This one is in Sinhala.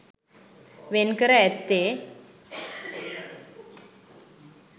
වෙන්කර ඇත්තේ